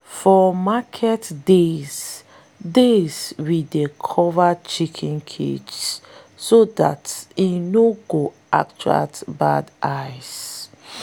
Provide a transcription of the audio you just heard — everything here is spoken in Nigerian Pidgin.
for market days days we dey cover chicken cages so dat e no attract bad eyes.